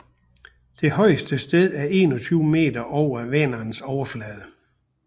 Det højeste sted er 21 meter over Vänerns overflade